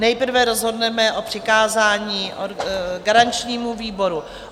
Nejprve rozhodneme o přikázání garančnímu výboru.